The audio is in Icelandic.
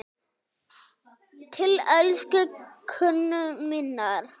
Til elsku Gunnu minnar.